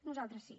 nosaltres sí